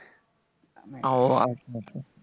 উহ আচ্ছা, আচ্ছা।